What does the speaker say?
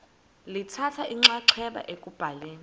lithatha inxaxheba ekubhaleni